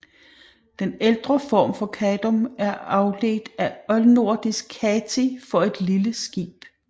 Den ældre form Kadum er afledt af oldnordisk kati for et lille skib